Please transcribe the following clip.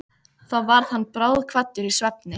Þá varð hann bráðkvaddur í svefni.